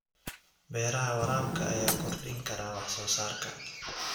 Beeraha waraabka ayaa kordhin kara wax soo saarka.